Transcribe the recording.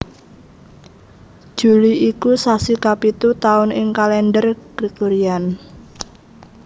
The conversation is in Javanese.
Juli iku sasi kapitu taun ing Kalendher Gregorian